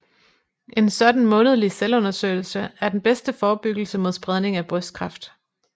En sådan månedlig selvundersøgelse er den bedste forebyggelse mod spredning af brystkræft